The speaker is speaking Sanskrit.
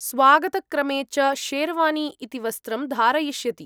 स्वागतक्रमे च शेरवानी इति वस्त्रं धारयिष्यति।